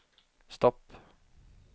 stopp